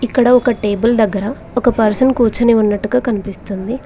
ఇక్కడ ఒక టేబుల్ దగ్గర ఒక పర్సన్ కూర్చుని ఉన్నట్టుగా కనిపిస్తుంది.